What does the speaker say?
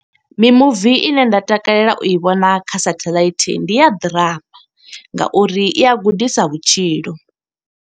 Mimuvi ine nda takalela u i vhona kha satheḽaithi, ndi ya ḓirama nga uri i a gudisa vhutshilo.